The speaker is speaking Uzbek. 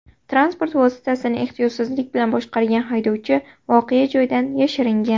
Transport vositasini ehtiyotsizlik bilan boshqargan haydovchi voqea joyidan yashiringan.